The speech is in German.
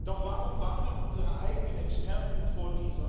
Doch warum warnen unsere eigenen Experten davor?